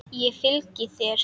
Ég fylgi þér!